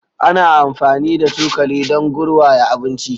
Ana amfani da cokali dun garwaya abinci